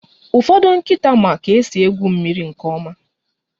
Ụfọdụ nkịta ma ka esi egwu mmiri nke ọma